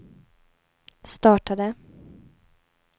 startade